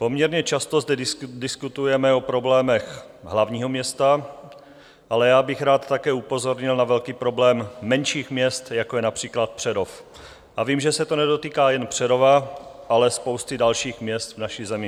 Poměrně často zde diskutujeme o problémech hlavního města, ale já bych rád také upozornil na velký problém menších měst, jako je například Přerov, a vím, že se to nedotýká jen Přerova, ale spousty dalších měst v naší zemi.